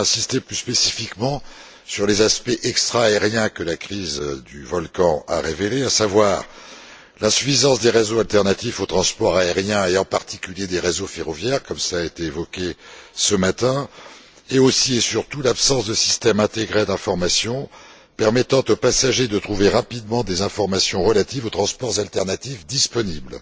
Je voulais aussi insister, plus spécifiquement, sur les aspects extra aériens que la crise du volcan a révélés, à savoir l'insuffisance des réseaux alternatifs au transport aérien et, en particulier, des réseaux ferroviaires comme cela a été évoqué ce matin, et, aussi et surtout, l'absence de systèmes intégrés d'information permettant aux passagers de trouver rapidement des informations relatives aux transports alternatifs disponibles.